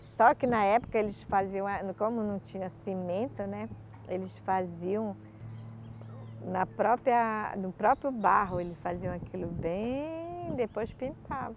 Só que na época eles faziam a, como não tinha cimento, né, eles faziam o, na própria, no próprio barro, eles faziam aquilo bem, depois pintavam.